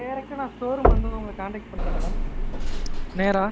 direct ஆ showroom வந்து உங்கள contact பண்றேன் madam நேரா.